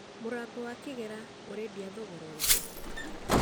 Mũrango wa kĩgera ũredĩa thogora ũrĩkũ?